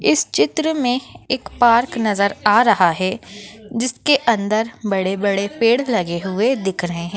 इस चित्र में एक पार्क नजर आ रहा है जिसके अंदर बड़े बड़े पेड़ लगे हुये दिख रहे है।